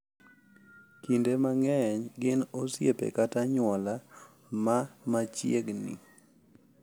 Kinde mang’eny gin osiepe kata anyuola ma machiegni